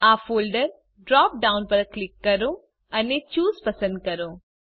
આ folder drop down પર click કરો અને ચૂસે પસંદ કરો